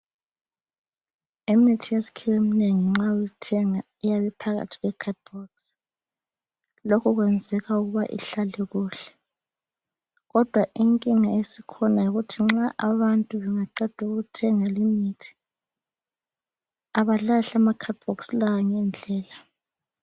Imithi yesikhiwa eminengi nxa uyithenga iyabe iphakathi kwe khadibhokisi lokho kwenzelwa ukuba ihlale kuhle kodwa inkinga esikhona yikuthi nxa abantu bengaqeda ukuthenga limithi abalahli amakhadibhokisi lawa ngendlela.